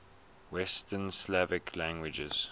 west slavic languages